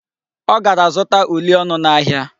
Ọ gara zụta uli ọnụ n'ahịa.